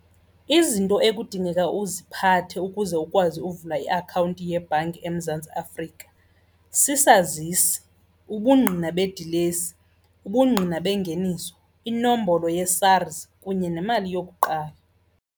Izinto ekudingeka uziphathe ukuze ukwazi uvula iakhawunti yebhanki eMzantsi Afrika sisazisi, ubungqina bedilesi, ubungqina bengeniso, inombolo yeSARS kunye nemali yokuqala.